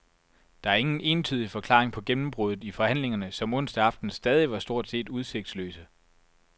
Der er ingen entydig forklaring på gennembruddet i forhandlingerne, som onsdag aften stadig stort set var udsigtsløse.